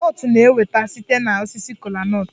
Kola nut na-enweta site na osisi kola nut